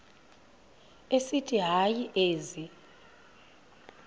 esithi hayi ezi